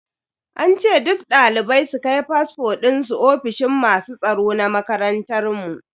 An ce duk dalibai su kai fasfo dinsu ofishin masu tsaro na makarantar mu.